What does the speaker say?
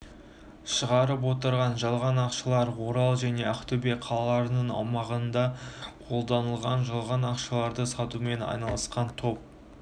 шығарып отырған жалған ақшалар орал және ақтөбе қалаларының аумағында қолданылған жалған ақшаларды сатумен айналысқан топ